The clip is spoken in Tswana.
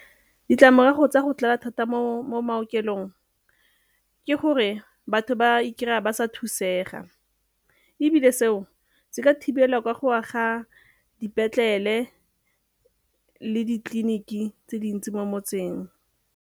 Ditlamorago tsa go tlala thata mo maokelong ke gore batho ba ikry-a ba sa thusega ebile seo se ka thibelwa ka go aga dipetlele le ditleliniki tse dintsi mo motseng.